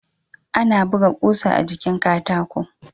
Ana buga kusa a jikin Katako